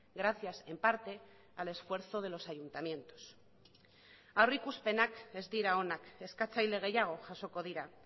gracias en parte al esfuerzo de los ayuntamientos aurrikuspenak ez dira onak eskatzaile gehiago jasoko dira